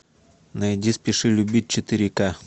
найди спеши любить четыре ка